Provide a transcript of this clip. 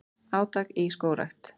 Átak í skógrækt